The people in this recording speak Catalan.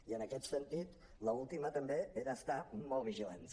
i en aquest sentit l’última també era estar molt vigilants